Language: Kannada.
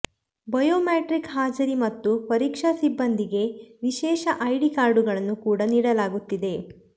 ಬಯೋ ಮೆಟ್ರಿಕ್ ಹಾಜರಿ ಮತ್ತು ಪರೀಕ್ಷಾ ಸಿಬ್ಬಂದಿಗೆ ವಿಶೇಷ ಐಡಿ ಕಾರ್ಡುಗಳನ್ನು ಕೂಡ ನೀಡಲಾಗುತ್ತಿದೆ